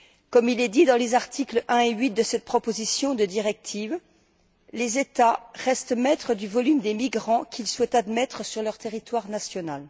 Comme il est dit dans les articles 1 et 8 de cette proposition de directive, les États restent maîtres du nombre de migrants qu'ils souhaitent admettre sur leur territoire national.